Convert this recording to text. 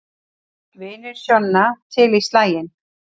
Vinir Sjonna til í slaginn